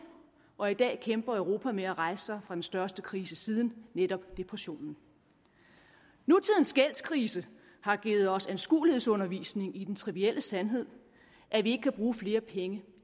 og i dag kæmper europa med at rejse sig fra den største krise siden netop depressionen nutidens gældskrise har givet os anskuelighedsundervisning i den trivielle sandhed at vi ikke kan bruge flere penge